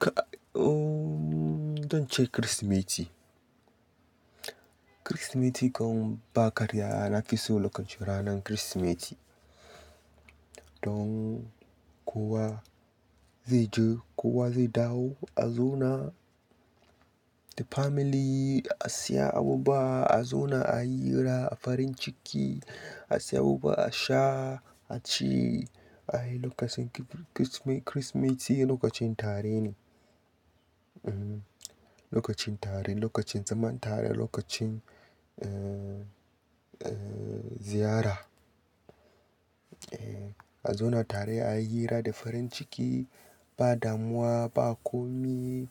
Ka-- ooo zan ce Kirsimeti. Kirsimeti kau ba karya na fi so lokacin ranan Kirsimeti. Don kowa zai je kowa zai dawo a zona the family a siya abubuwa, a zona a yi hira a farin ciki, a siya abubuwa, a sha, a ci, a yi lokacin Kirsimeti lokacin tare ne. Ehn lokacin tare, lokacin zaman tare, lokacin eh, eh ziyara. Ehn a zona tare a yi hira da farin ciki ba damuwa, ba komi,